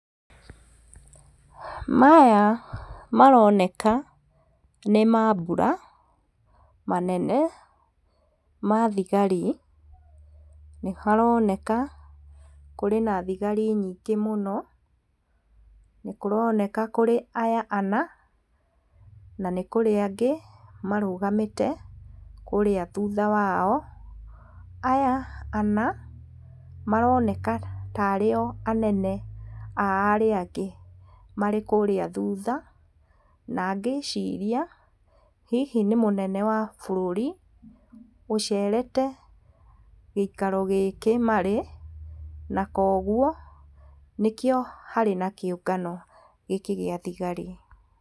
Maya maroneka nĩ mambura manene ma thigari, nĩharoneka kũrĩ na thigari nyingĩ mũno nĩ kũroneka kũrĩ aya ana na nĩkũrĩ angĩ marũgamĩte kũrĩa thutha wao, aya ana maroneka tarĩ o anene a arĩa angĩ marĩ kũrĩa thutha na ngĩciria hihi nĩ mũnene wa bũrũri ũcerete gĩikaro gĩkĩ marĩ na kwa ũguo nĩkĩo harĩ na kĩũngano gĩkĩ gĩa thigari.